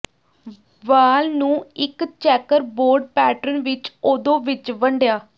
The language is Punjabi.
ਵਾਲ ਨੂੰ ਇੱਕ ਚੈੱਕਰਬੋਰਡ ਪੈਟਰਨ ਵਿੱਚ ਓਦੋ ਵਿੱਚ ਵੰਡਿਆ